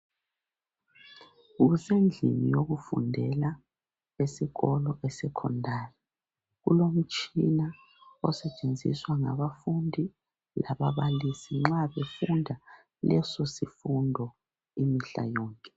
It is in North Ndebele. Kusendlini yokufundela esikolo esekhondari kulomtshina osetshenziswa ngabafundi lababalisi nxa befunda leso sifundo imihla yonke.